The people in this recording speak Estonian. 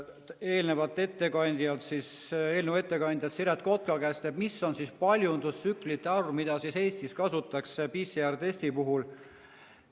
Küsisin täna eelnõu ettekandja Siret Kotka käest, milline on paljundustsüklite arv, mida Eestis kasutatakse PCR‑testi puhul.